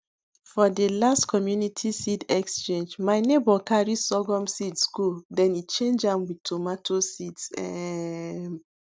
for the last community seed exchange my neighbour carry sorghum seeds go then e change am wit tomato seeds um